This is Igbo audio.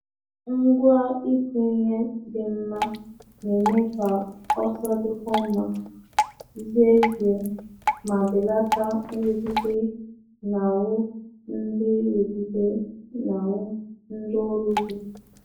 Ngwa ịkụ ihe dị mma na-eme ka ọsọ dịkwuo mma, zie ezie, ma belata nrụgide n'ahụ ndị nrụgide n'ahụ ndị ọrụ ugbo.